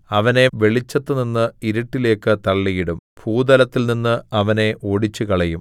അവനെ വെളിച്ചത്തുനിന്ന് ഇരുട്ടിലേക്ക് തള്ളിയിടും ഭൂതലത്തിൽനിന്ന് അവനെ ഓടിച്ചുകളയും